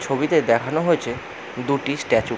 ছবিতে দেখানো হয়েছে দুটি স্ট্যাচু ।